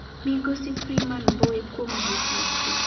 migosi Freeman Mbowe kuom buok maduong